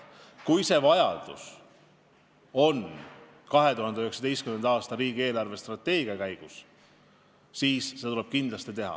Kui see vajadus ilmneb enne 2019. aastal riigi eelarvestrateegia arutamist, siis seda tuleb kindlasti teha.